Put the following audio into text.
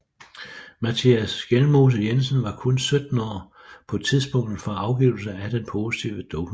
Mattias Skjelmose Jensen var kun 17 år på tidspunktet for afgivelsen af den positive dopingprøve